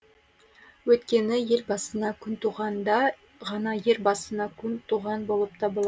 өйткені ел басына күн туғанда ғана ер басына күн туған болып табылады